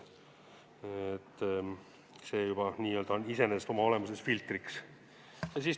See on juba iseenesest oma olemuses filtriks.